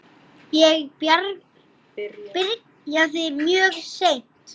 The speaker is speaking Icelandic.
Ég byrjaði mjög seint.